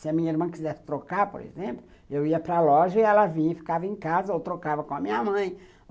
Se a minha irmã quisesse trocar, por exemplo, eu ia para loja e ela vinha e ficava em casa ou trocava com a minha mãe.